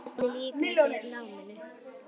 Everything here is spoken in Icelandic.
Hvernig líkaði þér í náminu?